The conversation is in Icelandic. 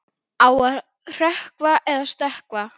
Á að hrökkva eða stökkva?